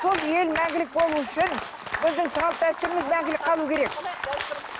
сол ел мәңгілік болуы үшін біздің салт дәстүріміз мәңгілік қалу керек